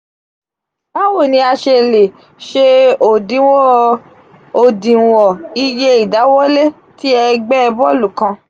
bawo ni a ṣe le se odinwon iye idawọlẹ ti ẹgbẹ bọọlu kan?